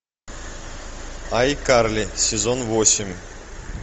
айкарли сезон восемь